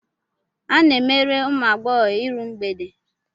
A na-emere ụmụ agbọghọ iru mgbede.